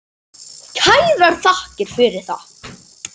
Kærar þakkir fyrir það.